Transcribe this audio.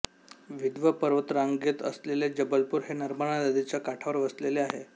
विंध्य पर्वतरांगेत असलेले जबलपूर हे नर्मदा नदीच्या काठावर वसले आहे